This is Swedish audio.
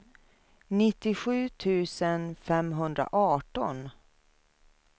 nittiosju tusen femhundraarton